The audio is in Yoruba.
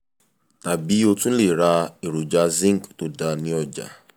tàbí o tún lè ra èròjà zinc tó dáa ní ọjà